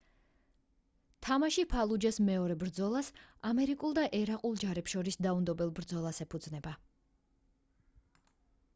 თამაში ფალუჯას მეორე ბრძოლას ამერიკულ და ერაყულ ჯარებს შორის დაუნდობელ ბრძოლას ეფუძნება